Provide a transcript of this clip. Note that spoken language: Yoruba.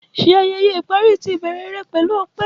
Ṣe ayẹyẹ ipari ti ibẹrẹ pẹlu ọpẹ.